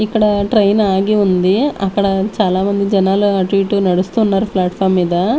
ఇక్కడ ట్రైన్ ఆగి ఉంది అక్కడ చాలామంది జనాలు అటు ఇటు నడుస్తున్నారు ప్లాట్ఫామ్ మీద.